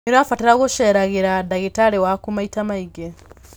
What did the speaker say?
Nĩ ũrabatara gũceragĩra ndagĩtarĩ waku maita maingĩ.